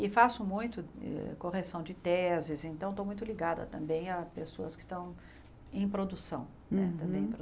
E faço muito eh correção de teses, então estou muito ligada também a pessoas que estão em produção né, Uhum Também